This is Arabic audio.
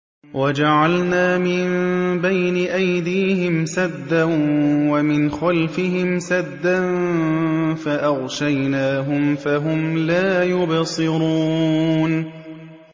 وَجَعَلْنَا مِن بَيْنِ أَيْدِيهِمْ سَدًّا وَمِنْ خَلْفِهِمْ سَدًّا فَأَغْشَيْنَاهُمْ فَهُمْ لَا يُبْصِرُونَ